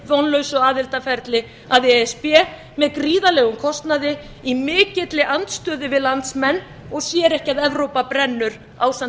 vitavonlausu aðildarferli að e s b með gríðarlegum kostnaði í mikilli andstöðu við landsmenn og sér ekki að evrópa brennur ásamt